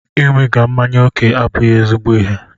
Ịṅụbiga mmanya ókè abụghị ezigbo ịhe.